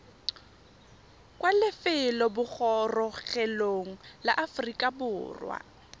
kwa lefelobogorogelong la aforika borwa